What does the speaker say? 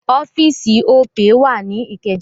Ọ́fíì̀sì Opay wà ní Ìkẹjà.